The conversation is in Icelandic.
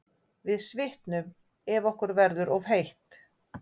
Við svitnum ef okkur verður of heitt.